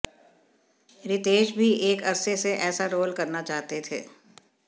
रितेश भी एक अरसे से ऐसा रोल करना चाहते थे